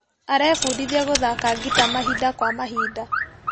Arebundithia gũthaka ngita mahinda kwa mahinda.